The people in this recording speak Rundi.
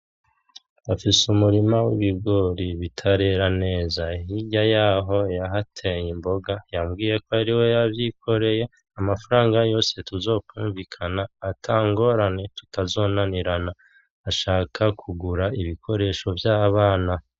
Afise umurima w’ibugori bitarera neza hirya yaho yahateye imboga yabwiye ko ari we yavyikoreye amafaranga yose tuzokumvikana atangorane tutazonanirana ashaka kugura ibikoresho vyabana.